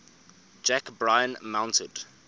jack bryan mounted